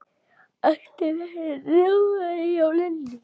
Ertu með númerið hjá Lillý?